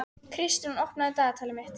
Kristrún, opnaðu dagatalið mitt.